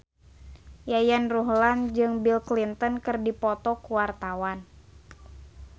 Yayan Ruhlan jeung Bill Clinton keur dipoto ku wartawan